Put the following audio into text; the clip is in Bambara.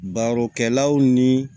Barokɛlaw ni